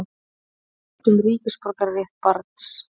Vill fund um ríkisborgararétt barns